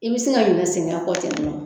I bɛ se ka ɲinɛn sɛgɛn kɔ ten nɔ.